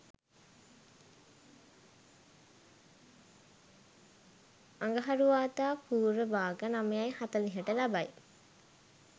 අඟහරුවාදා පූර්ව භාග 09.40ට ලබයි.